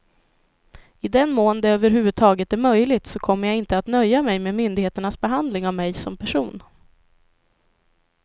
I den mån det över huvud taget är möjligt så kommer jag inte att nöja mig med myndigheternas behandling av mig som person.